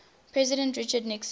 president richard nixon